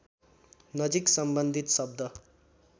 नजिक सम्बन्धित शब्द